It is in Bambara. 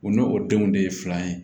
U n'o denw de ye filan ye